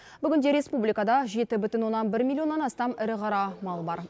бүгінде республикада жеті бүтін оннан бір миллионнан астам ірі қара мал бар